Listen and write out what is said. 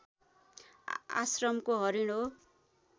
आश्रमको हरिण हो